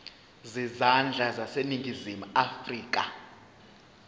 zezandla zaseningizimu afrika